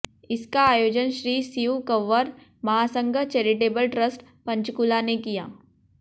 इसका आयोजन Shri Shiv Kanwar Mahasangh charitable trust Panchkula ने किया